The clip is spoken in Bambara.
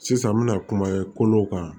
Sisan n bɛna kumaw kan